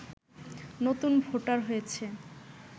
নতুন ভোটার হয়েছে